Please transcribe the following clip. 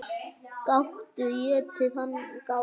Gátu étið hana, gátu.